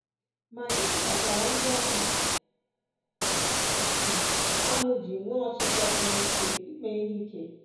Ma gịnị kpatara ndị ahụ ji ahụ ji nwee ọchịchọ siri ike ime ihe ike?